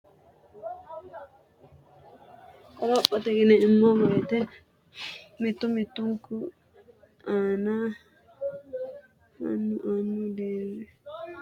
Qorophote yineemmo wote mittu mittunku annu annu deerrinni umonke so’rotenninna jaddotenni agadhate assineemmo, hee’neemmo, inteem- mo, uddi’neemmo, jajjanna wole hasiissanno tajuwa wodhineemmonna amaxxineemmo gara lainohunni assineemmo qorowo lainoha amaddan-.